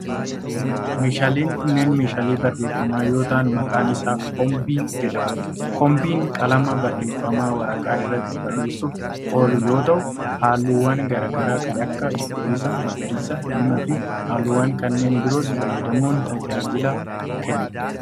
Meeshaaleen kunneen meeshaalee barreeffama yoo ta'an ,maqaan isaa kobbii jedhama. Kobbiin qalama barreeffamaa waraqaa irratti barreessuuf oolu yoo ta'u, haalluuwwan garaa garaa kan akka :cuquliisa, magariisa, diimaa fi haalluuwwan kanneen biroos fayyadamuun tajaajila kenna.